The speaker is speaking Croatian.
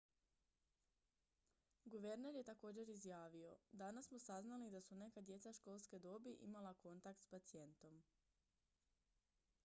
"guverner je također izjavio: "danas smo saznali da su neka djeca školske dobi imala kontakt s pacijentom"".